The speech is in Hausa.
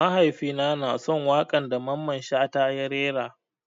Mahaifi na na son wakan da Mamman shata ya rera.